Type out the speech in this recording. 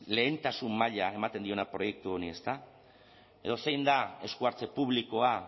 lehentasun maila ematen diona proiektu honi ezta edo zein da esku hartze publikoa